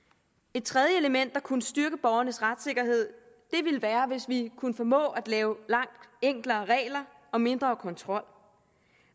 et tredje element der kunne styrke borgernes retssikkerhed ville være hvis vi kunne lave langt enklere regler og mindre kontrol